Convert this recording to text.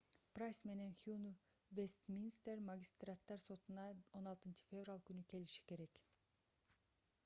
прайс менен хьюн вестминстер магистраттар сотуна 16-февраль күнү келиши керек